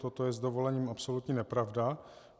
Toto je s dovolením absolutní nepravda.